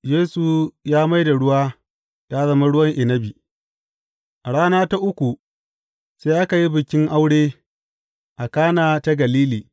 Yesu ya mai da ruwa ya zama ruwan inabi A rana ta uku sai aka yi bikin aure a Kana ta Galili.